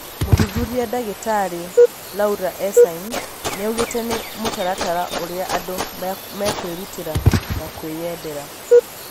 Mũthuthuria ndagĩtarĩ Laura Ensign, nĩaugĩte nĩ mũtaratara urĩa andũ mekwïrutĩra na kwĩyendera